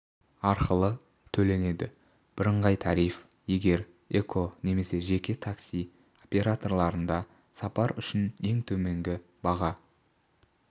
арқылы төленеді бірыңғай тариф егер эко немесе жебе такси операторларында сапар үшін ең төменгі баға